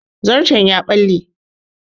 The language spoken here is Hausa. Zarto ya ɓale